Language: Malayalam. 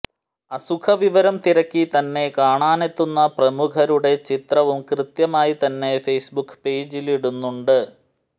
അസുഖവിവരം തിരക്കി തന്നെ കാണാനെത്തുന്ന പ്രമുഖരുടെ ചിത്രവും കൃത്യമായി തന്നെ ഫെയ്സ് ബുക്ക് പേജിലിടുന്നുണ്ട്